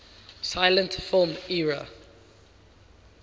silent film era